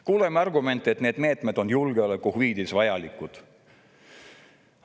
Kuuleme argumente, et need meetmed on julgeoleku huvides vajalikud.